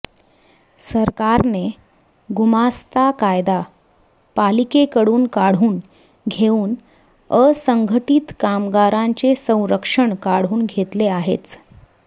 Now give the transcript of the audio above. सरकारने गुमास्ता कायदा पालिकेकडून काढून घेऊन असंघटित कामगारांचे संरक्षण काढून घेतले आहेच